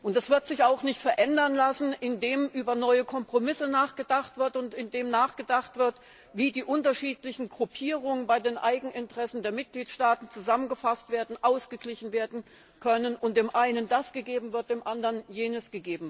Das wird sich auch nicht verändern lassen, indem über neue Kompromisse nachgedacht wird und indem nachgedacht wird, wie die unterschiedlichen Gruppierungen bei den Eigeninteressen der Mitgliedstaaten zusammengefasst werden, ausgeglichen werden können und dem einen das gegeben wird und dem anderen jenes.